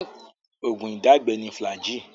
Oògún ìdágbẹ ni Flagyl.